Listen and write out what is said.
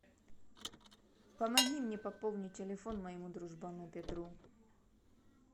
помоги мне пополнить телефон моему дружбану петру